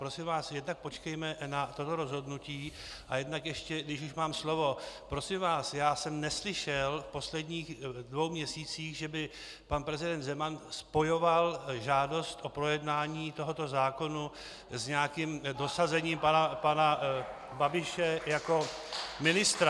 Prosím vás, jednak počkejme na toto rozhodnutí a jednak ještě, když už mám slovo: prosím vás, já jsem neslyšel v posledních dvou měsících, že by pan prezident Zeman spojoval žádost o projednání tohoto zákona s nějakým dosazením pana Babiše jako ministra.